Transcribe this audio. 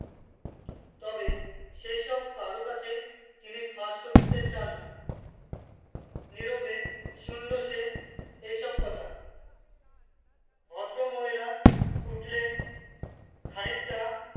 তবে সেসব কারুর কাছে তিনি ফাঁস করতে চাননা নীরবে শুনলো সে এইসব কথা ভদ্রমহিলা উঠলেন খানিকটা